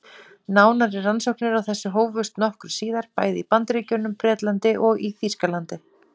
Nánari rannsóknir á þessu hófust nokkru síðar, bæði í Bandaríkjunum, Bretlandi og í Þýskalandi.